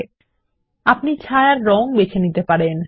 আপনি সীমানার রঙ এবং ছায়া বেছে নিতে পারেন